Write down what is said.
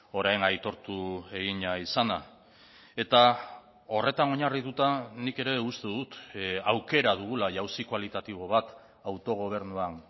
orain aitortu egina izana eta horretan oinarrituta nik ere uste dut aukera dugula jauzi kualitatibo bat autogobernuan